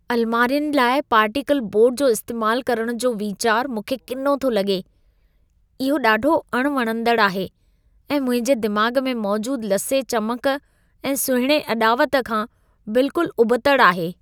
अलमारियुनि लाइ particle board जो इस्तेमालु करण जो वीचारु मूंखे किनो थो लॻे। इहो ॾाढो अणवणंदड़ आहे ऐं मुंहिंजे दिमाग़ में मौजूदु लसे चमक ऐं सुहिणे अॾावत खां बिल्कुलु उबतड़ि आहे।